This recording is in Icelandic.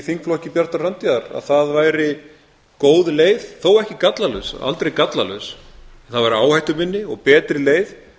þingflokki bjartrar framtíðar a það væri góð leið þó ekki gallalaus aldrei gallalaus það væri áhættuminni og betri leið